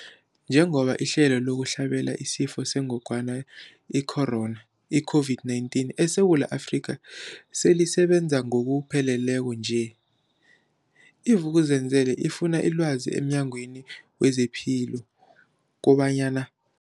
Njengoba ihlelo lokuhlabela isiFo sengogwana i-Corona, i-COVID-19, eSewula Afrika selisebenza ngokupheleleko nje, i-Vuk'uzenzele ifune ilwazi emNyangweni wezePilo kobanyana.